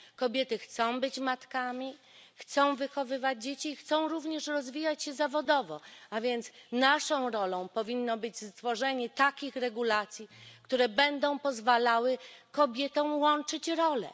Kobiety chcą być matkami, chcą wychowywać dzieci, chcą również rozwijać się zawodowo, a więc naszą rolą powinno być stworzenie takich regulacji, które będą pozwalały kobietom łączyć role.